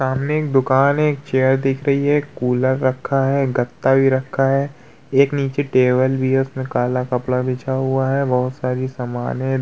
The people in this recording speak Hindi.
सामने एक दुकान है एक चेयर दिख रखी है कूलर रखा है गत्ता भी रखा है एक नीचे टेबल भी है उसमे काला कपड़ा बिछा हुआ है बहोत सारी समान है।